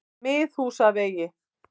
Miðhúsavegi